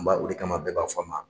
N b'a o de kama bɛɛ b'a fɔ a ma